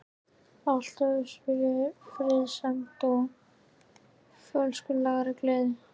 Allt hófst það með friðsemd og fölskvalausri gleði.